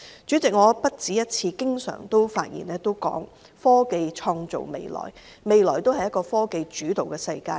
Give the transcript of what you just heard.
主席，我不止一次表示，科技創造未來，未來是科技主導的世界。